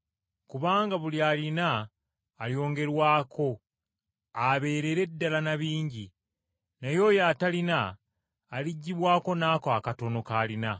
Kubanga buli alina alyongerwako abeerere ddala na bingi, naye oyo atalina aliggyibwako n’ako akatono k’alina.